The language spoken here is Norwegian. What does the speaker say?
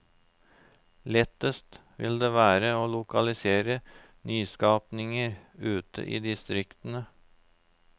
Lettest vil det være å lokalisere nyskapninger ut i distriktene.